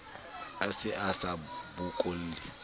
a se a sa bokolle